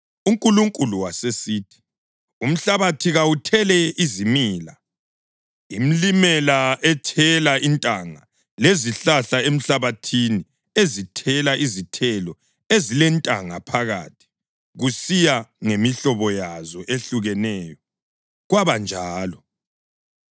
UNkulunkulu wasesithi, “Umhlabathi kawuthele izimila: imlimela ethela intanga lezihlahla emhlabathini ezithela izithelo ezilentanga phakathi, kusiya ngemihlobo yazo ehlukeneyo.” Kwabanjalo.